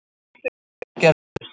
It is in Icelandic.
Áhrif og aðgerðir.